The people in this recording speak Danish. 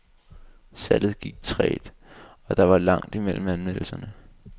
Salget gik trægt, og der var langt mellem anmeldelserne.